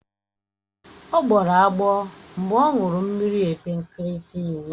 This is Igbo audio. Ọ gbọrọ agbọ mgbe ọ ṅụrụ mmiri epe nkirisi ụnyaahụ.